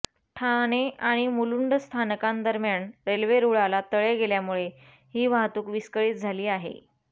ठाणे आणि मुलुंड स्थानकांदरम्यान रेल्वे रुळाला तडे गेल्यामुळे ही वाहतूक विस्कळीत झाली आहे